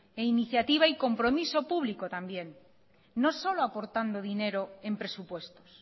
e iniciativa y compromiso publico también no solo aportando dinero en presupuestos